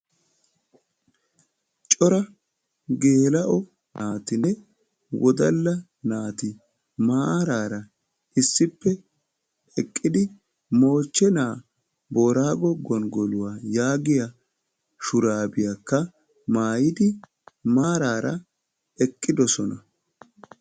Cora geela"o naatinne wodala naati maarara issippe eqqidi moochchena boorago gonggoluwaa yaaggiya shurabiyaakka maayyidi maarara eqqidooosona.